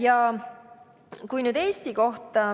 Ja nüüd Eestist.